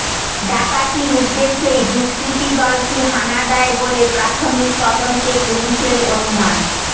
ডাকাতির উদ্দেশ্যেই দুষ্কৃতীদলটি হানা দেয় বলে প্রাথমিক তদন্তে পুলিশের অনুমান